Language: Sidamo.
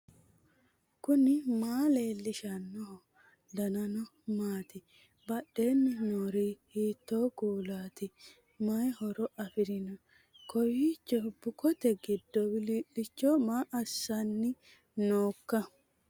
knuni maa leellishanno ? danano maati ? badheenni noori hiitto kuulaati ? mayi horo afirino ? kowiicho bukote giddo wilii'licho maa loossanni noika